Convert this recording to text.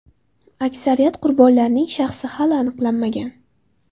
Aksariyat qurbonlarning shaxsi hali aniqlanmagan.